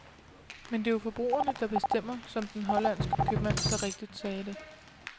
Men det er jo forbrugerne, der bestemmer, som den hollandske købmand så rigtig sagde det.